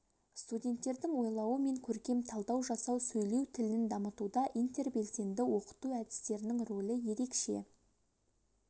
студенттердің ойлауы мен көркем талдау жасау сөйлеу тілін дамытуда интербелсенді оқыту әдістерінің рөлі ерекше